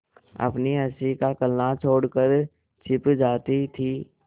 अपनी हँसी का कलनाद छोड़कर छिप जाती थीं